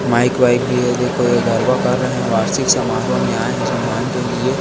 mic bike भी है यह गरबा कर रहे हैं वार्षिक समारोह में आए हैं जजमान के लिए--